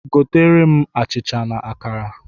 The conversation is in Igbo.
Goteere m achịcha na akara!